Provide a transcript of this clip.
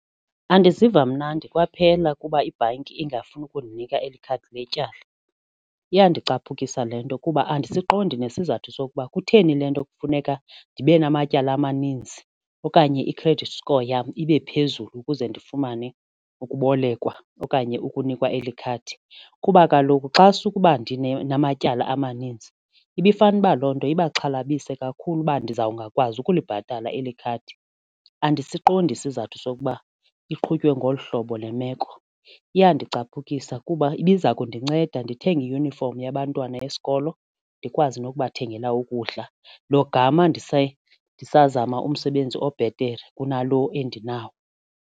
Andiziva mnandi kwaphela kuba ibhanki ingafuni ukundinika eli khadi letyala. Iyandicaphukisa le nto kuba andisiqondi nesizathu sokuba kutheni le nto kufuneka ndibe namatyala amaninzi okanye i-credit score yam ibe phezulu ukuze ndifumane ukubolekwa okanye ukunikwa eli khadi kuba kaloku xa sukuba ndinamabala amaninzi ibifane uba loo nto ibaxhalabile kakhulu uba ndizawungakwazi ukulibhatala eli khadi. Andisiqondi isizathu sokuba iqhutywe ngolu hlobo le meko iyandicaphukisa kuba ibiza kundinceda ndithenge iyunifomi yabantwana besikolo ndikwazi ngokubathengela ukudla lo gama ndisazama umsebenzi obhetere kunalo endinawo.